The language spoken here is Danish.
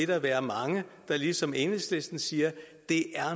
vil være mange der ligesom enhedslisten siger at det